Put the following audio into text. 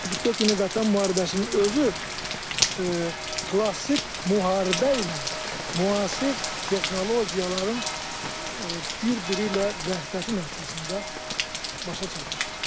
44 günlük Vətən müharibəsinin özü klassik müharibə ilə müasir texnologiyaların bir-biri ilə vəhdəti nəticəsində başa çatmışdır.